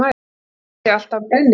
Hvar fær Diddi alltaf brennivín?